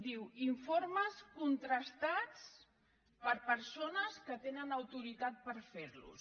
diu informes contrastats per persones que tenen au·toritat per fer·los